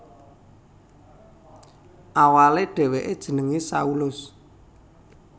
Awalé dhèwèké jenengé Saulus